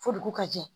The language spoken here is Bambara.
Fo dugu ka jɛ